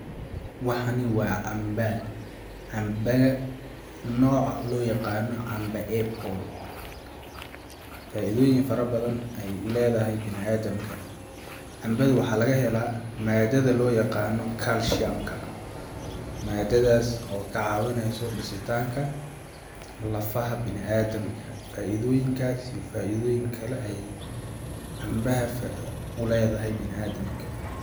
Waxani waa camba, cambaga nooca loo yaqano camba apple, faaidooyin faro badan ayee uleedahay biniaadamka, cambaga waxaa laga hela maadada loo yaqano culcium maadadas oo kacaawineso dhisitaanka lafaha biniaadamka, faaidooyinkas iyo faaidooyin kale cambaha uleedahay biniaadamka.